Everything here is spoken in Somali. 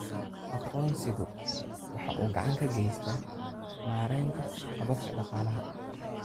Aqoonsigu waxa uu gacan ka geystaa maareynta hababka dhaqaalaha.